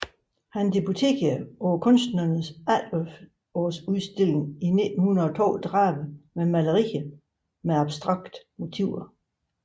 Han debuterede på Kunstnernes Efterårsudstilling i 1932 med malerier med abstrakte motiver